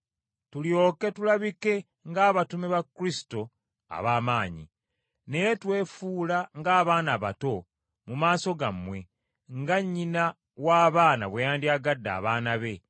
tulyoke tulabike ng’abatume ba Kristo ab’amaanyi. Naye twefuula ng’abaana abato mu maaso gammwe, nga nnyina w’abaana bwe yandyagadde abaana be,